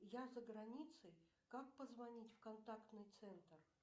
я заграницей как позвонить в контактный центр